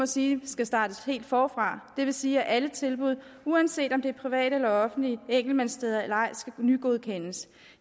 sige skal startes helt forfra det vil sige at alle tilbud uanset om det er private eller offentlige enkeltmandssteder eller ej skal nygodkendes